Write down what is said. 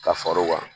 Ka far'o kan